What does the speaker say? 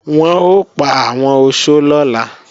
Wọn ò pa àwọn oṣó lọ́la